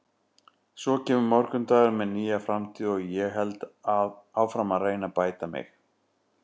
Svo kemur morgundagurinn með nýja framtíð og ég held áfram að reyna að bæta mig.